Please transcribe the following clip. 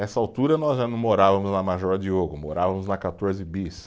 Nessa altura nós já não morávamos na Major Diogo, morávamos na Quatorze Bis.